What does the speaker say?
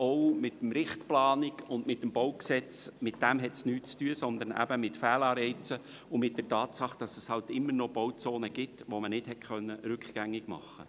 auch nichts mit dem BauG zu tun, sondern vielmehr mit Fehlanreizen und mit der Tatsache, dass es immer noch Bauzonen gibt, die nicht rückgängig gemacht werden konnten.